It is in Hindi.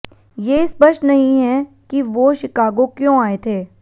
ये स्पष्ट नहीं है कि वो शिकागो क्यों आए थे